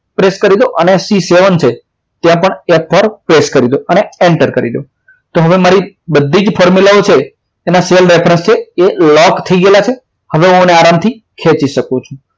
press કરી દો અને c seven છે ત્યાં પણ f four press કરી દો અને enter કરી દો હવે મારી બધી જ formula ઓ છે એના cell reference છે એ લોક થઈ ગયેલા છે હવે હું એને આરામથી ખેંચી શકું છું